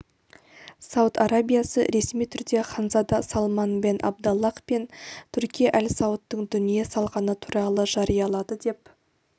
сауд арабиясы ресми түрде ханзада салман бен абдаллах бен турки әлсаудтың дүние салғаны туралы жариялады деп